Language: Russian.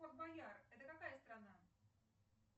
форт боярд это какая страна